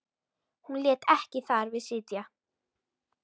Hún lét ekki þar við sitja.